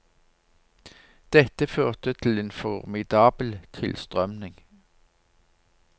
Dette førte til en formidabel tilstrømning.